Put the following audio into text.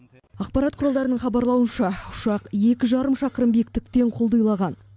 ақпарат құралдарының хабарлауынша ұшақ екі жарым шақырым биіктіктен құлдилаған